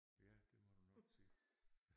Ja det må du nok sige